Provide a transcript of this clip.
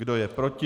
Kdo je proti?